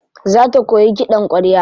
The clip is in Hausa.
Za ta koyi kiɗan ƙwarya.